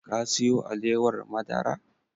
Ka siyo alewar madara?